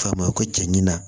F'a ma ko cɛ ɲina